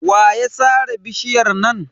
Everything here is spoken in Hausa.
Wa ya sare bishiyar nan?